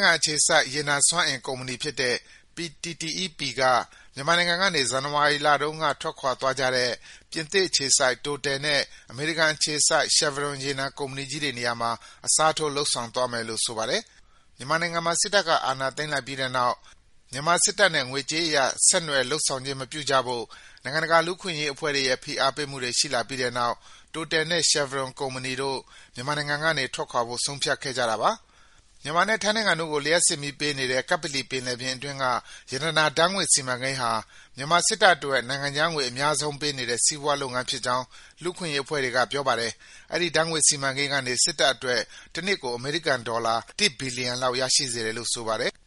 ထိုင်းအေခြစိုက် ရေနံစွမ်းအင် ကုမ္ပဏီဖြစ်တဲ့ PTTEP က မြန်မာနိုင်ငံကေန ဇန်နဝါရီလတုန်းက ထွက်ခွာသွားကြတဲ့ ပြင်သစ်အေခြစိုက် Total နဲ့ အေမရိကန်အေခြစိုက် Chevron ရေနံစွမ်းအင်ကုမ္ပဏီကြီးေတွေနရာမှာ အစားထိုး လုပ်ဆောင်သွားမယ်လို့ ဆိုပါတယ်။ မြန်မာနိုင်ငံမှာ စစ်တပ်က အာဏာသိမ်းလိုက်ပြီးတဲ့နောက် မြန်မာစစ်တပ်နဲ့ ေငွေကြးအရ ဆက်နွယ်လုပ်ဆောင်ခြင်း မပြုကြဖို့ နိုင်ငံတကာ လူ့အခွင့်အေရး အဖွဲ့တွေရဲ့ ဖိအားပေးမှုတွေ ရှိလာပြီးတဲ့နောက် Total နဲ့ Chevron ကုမ္ပဏီတို့ မြန်မာနိုင်ငံကေန ထွက်ခွာဖို့ ဆုံးဖြတ်ခဲ့ကြတာပါ။ မြန်မာနဲ့ ထိုင်းနိုင်ငံတို့ကို လျှပ်စစ်မီးပေးနေတဲ့ ကပ္ပလီပင်လယ်ပြင်အတွင်းက ရတနာ ဓါတ်ငွေ့စီမံကိန်းဟာ မြန်မာစစ်တပ်အတွက် နိုင်ငံခြားငွေ အများဆုံးပေးနေတဲ့ စီးပွားလုပ်ငန်းဖြစ်ကြောင်း လူ့အခွင့်အေရးအဖွဲ့တွေက ပြောပါတယ်။ အဲဒီ ဓါတ်ငွေ့စီမံကိန်းကေန စစ်တပ်အတွက် တနှစ်ကို အေမရိကန်ဒေါ်လာ ၁ ဘီလီယံလောက် ရရှိစေတယ်လို့ ဆိုပါတယ်။